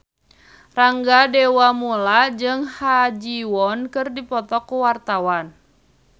Rangga Dewamoela jeung Ha Ji Won keur dipoto ku wartawan